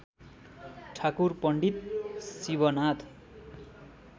Thakur Pandit Shivnath